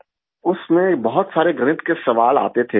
उसमें बहुत सारे गणित के सवाल आते थे